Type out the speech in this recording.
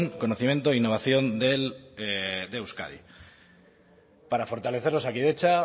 conocimiento e innovación de euskadi para fortalecer osakidetza